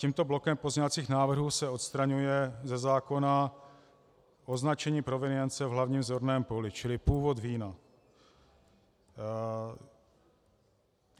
Tímto blokem pozměňovacích návrhů se odstraňuje ze zákona označení provenience v hlavním zorném poli, čili původ vína.